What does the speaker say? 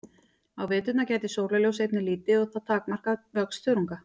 Á veturna gætir sólarljóss einnig lítið og það takmarkar vöxt þörunga.